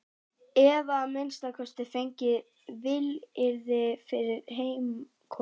Eða að minnsta kosti fengið vilyrði fyrir heimkomu.